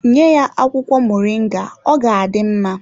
Nye ya akwụkwọ moringa ọ ga-adị mma.